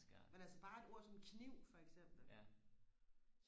men altså bare et ord som kniv for eksempel